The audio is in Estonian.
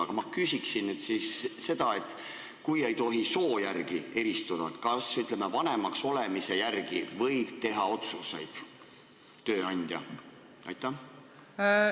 Aga ma küsin nüüd seda, et kui ei tohi soo järgi eristada, siis kas, ütleme, vanemaks olemise järgi võib tööandja teha otsuseid.